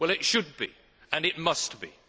Well, it should be, and it must be.